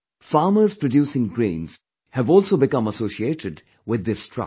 Farmers producing grains have also become associated with this trust